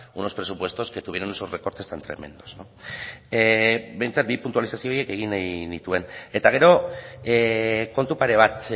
unos presupuestos que tuvieron esos recortes tan tremendos behintzat bi puntualizazio horiek egin nahi nituen eta gero kontu pare bat